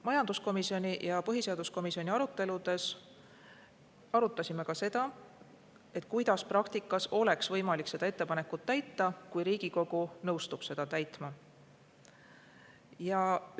Majanduskomisjoni ja põhiseaduskomisjoni aruteludes arutasime ka seda, kuidas praktikas oleks võimalik seda ettepanekut, kui Riigikogu nõustub seda.